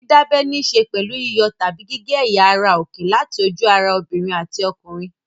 Dídábẹ níṣe pẹ̀lú yíyọ tàbí gígé ẹ̀yà ara òkè láti ojú-ara obìnrin àti ọkùnrin.